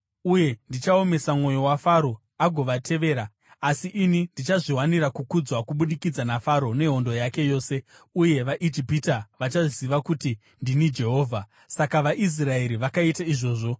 Uye ndichaomesa mwoyo waFaro, agovatevera. Asi ini ndichazviwanira kukudzwa kubudikidza naFaro nehondo yake yose, uye vaIjipita vachaziva kuti ndini Jehovha.” Saka vaIsraeri vakaita izvozvo.